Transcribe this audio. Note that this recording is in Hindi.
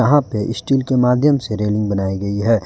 वहाँ पे स्टील के माध्यम से रेलिंग बनाई गई है।